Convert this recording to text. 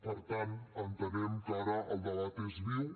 per tant entenem que ara el debat és viu